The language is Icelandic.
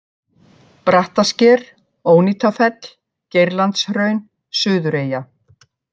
Brattasker, Ónýtafell, Geirlandshraun, Suðureyja